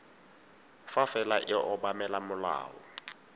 fa fela e obamela molao